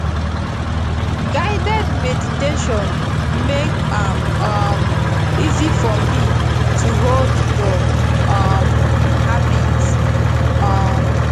guided meditation make am um easy for me to hold the um habit um